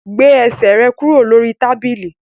Gbé ẹsẹ̀ rẹ kúrò lórí tábìlì!